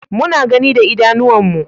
Muna gani da idanuwan mu